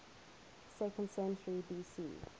second century bc